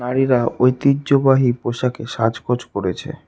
মেয়েরা ঐতিহ্যবাহী পোশাকে সাজগোজ করেছে।